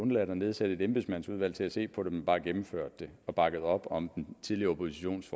undladt at nedsætte et embedsmandsudvalg til at se på det men bare gennemført det og bakket op om den tidligere oppositions